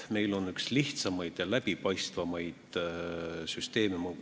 Meil on üks lihtsamaid ja läbipaistvamaid süsteeme.